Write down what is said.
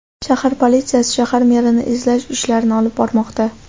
Shahar politsiyasi shahar merini izlash ishlarini olib bormoqda.